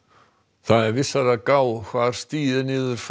það er vissara að gá hvar stigið er niður